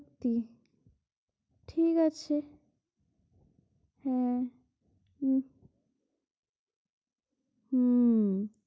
হম ঠিক আছে আহ হম